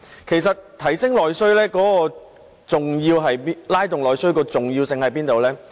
其實提升和拉動內需的重要性何在呢？